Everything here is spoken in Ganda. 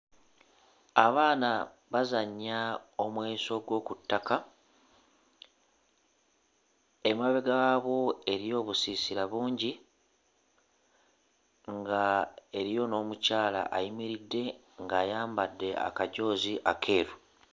Abaana bazannya omweso gw'oku ttaka, emabega waabwo eriyo obusiisira bungi nga eriyo n'omukyala ayimiridde ng'ayambadde akajoozi akeeru.